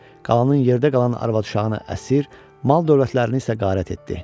Qalanın yerdə qalan arvad-uşağını əsir, mal-dövlətlərini isə qarət etdi.